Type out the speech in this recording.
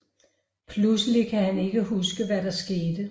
Pludselig kan han ikke huske hvad der skete